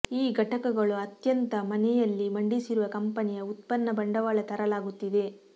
ಈ ಘಟಕಗಳು ಅತ್ಯಂತ ಮನೆಯಲ್ಲಿ ಮಂಡಿಸಿರುವ ಕಂಪನಿಯ ಉತ್ಪನ್ನ ಬಂಡವಾಳ ತರಲಾಗುತ್ತಿದೆ